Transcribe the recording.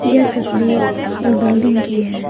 यह तस्वीर एक बिल्डिंग की है।